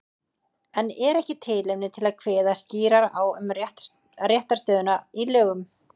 En er ekki tilefni til að kveða skýrar á um réttarstöðuna í lögum?